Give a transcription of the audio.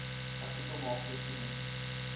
artikel maak voorsiening